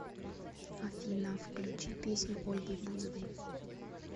афина включи песню ольги бузовой